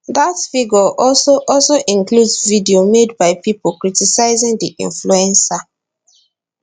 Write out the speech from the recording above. that figure also also includes videos made by people criticising the influencer